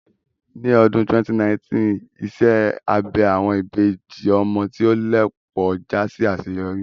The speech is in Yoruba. Ní ọdún 2019, iṣẹ́ abẹ àwọn ìbejì ọmọ tí ó lẹ̀ pọ̀ já sí àṣeyọrí